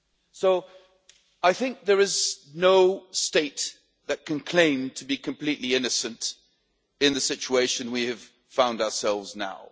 So there is no state that can claim to be completely innocent in the situation we have found ourselves now.